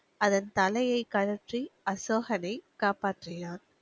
அதன் தலையை கழற்றி, அசோகனை காப்பாற்றினான்.